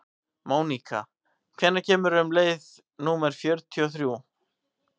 Mónika, hvenær kemur leið númer fjörutíu og þrjú?